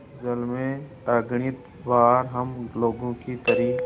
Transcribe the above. इस जल में अगणित बार हम लोगों की तरी